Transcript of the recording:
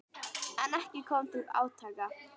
En ekki kom til átaka.